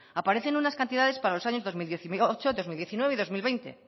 aparecen unas cantidades para los años dos mil dieciocho dos mil diecinueve y dos mil veinte